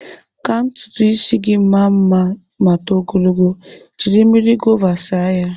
Ka ntutu ịsị gị maa mma ma too ogologo, jiri mmiri gova saa ya.